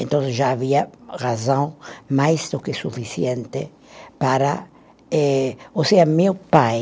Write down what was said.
Então já havia razão mais do que suficiente para eh, ou seja, meu pai...